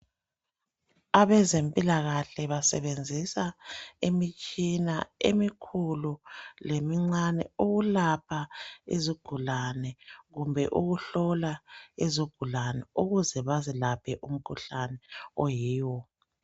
Abezempilakahle basebenzisa imitshina emikhulu lemincane. Ukulapha izigulane, kumbe ukuhlola izigulane. Ukuze bazilaphe umkhuhlane oyiwo,